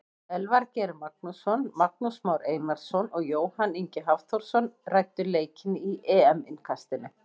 Elvar Geir Magnússon, Magnús Már Einarsson og Jóhann Ingi Hafþórsson ræddu leikinn í EM innkastinu.